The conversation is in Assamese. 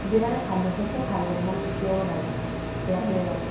যিমানে ভাল নোখোৱা কিয় ভাল বদ্নাম কেতিয়াও নাগায়। বেয়াটোয়ে গাব।